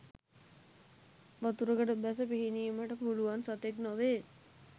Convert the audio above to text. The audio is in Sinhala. වතුරකට බැස පිහිනීමට පුළුවන් සතෙක් නොවේ.